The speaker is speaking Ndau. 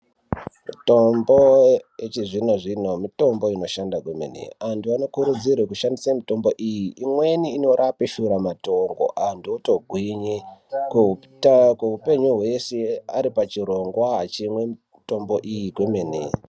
Mitombo yechizvino zvino mitombo inoshanda kwemene antu anokurudzirwe kushandise mitombo iyi imweni inorape Shura matongo antu otógwinye kweuta kweupenyu hwese ari pachirongwa achimwe mitombo iyi kwemene.